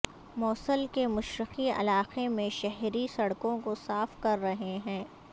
موصل کے مشرقی علاقے میں شہری سڑکوں کو صاف کر رہے ہیں